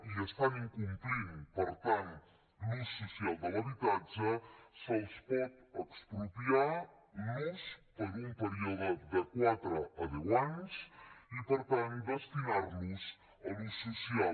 i estan incomplint per tant l’ús social de l’habitatge se’ls pot expropiar l’ús per un període de quatre a deu anys i per tant destinar los a l’ús social